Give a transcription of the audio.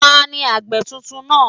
Taàní àgbẹ̀ tuntun náà?